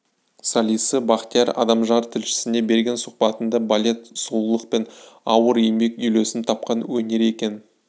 солисі бақтияр адамжан тілшісіне берген сұхбатында балет сұлулық пен ауыр еңбек үйлесім тапқан өнер екенін